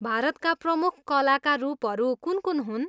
भारतका प्रमुख कलाका रूपहरू कुन कुन हुन्?